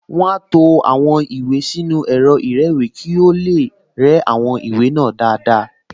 Wọ́n á to àwọn ìwé sínú ẹ̀rọ ìrẹ́wèé kí ó tó lè rẹ́ àwọn ìwé náà dáadáa